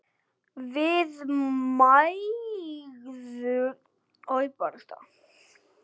Við mæðgur munum sakna þín.